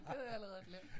Det havde jeg allerede glemt